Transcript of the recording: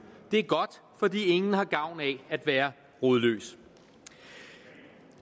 det er godt for ingen har gavn af at være rodløs